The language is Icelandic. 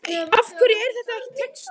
Af hverju er þetta ekki textað?